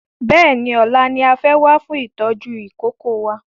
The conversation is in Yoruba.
Bẹ́ẹ̀ni ọ̀la ni a fẹ́ wá fún ìtọ́jú ìkókó wa